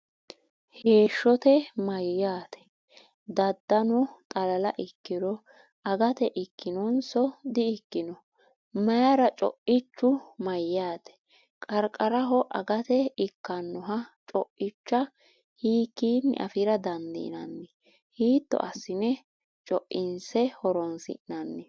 Heeshshote” mayyaate? Daadanno xalala ikkiro agate ikkannonso di”ikkanno? Mayra? Co’ichu mayyaate? Qarqaraho agate ikkannoha co’icha hiikkinni afi’ra dandiinanni? Hiitto assine co’inse horonsi’nanni?